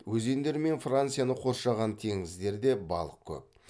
өзендері мен францияны қоршаған теңіздерде балық көп